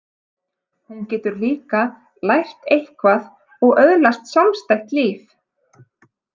Hún getur líka lært eitthvað og öðlast sjálfstætt líf.